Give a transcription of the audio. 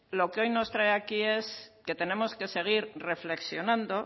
lo que hoy nos trae aquí es que tenemos que seguir reflexionando